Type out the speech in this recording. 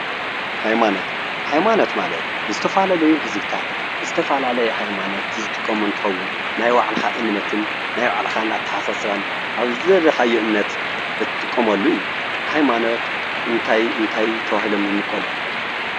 ሃይማኖት ፦ሃይማኖት ማለት ዝተፈላለዩ ህዝብታት ዝተፈላለዩ ሃይማኖት ዝጥቀሙ እንትኸውን ናይ ባዕልኻ እምነትን ናይ ባዕልኻ አተሓሳስባን ኣብ ዝደለካዮ እምነት እትጥቀመሉ እዩ። ሃይማኖት እንታይ እንታይ ተባሂሎም ይምቀሉ?